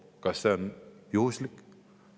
Kas see on juhuslik?